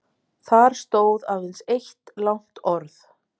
Þar stóð aðeins eitt langt orð